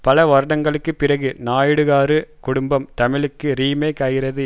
பல வருடங்களுக்கு பிறகு நாயுடுகாரு குடும்பம் தமிழுக்கு ரீமேக் ஆகிறது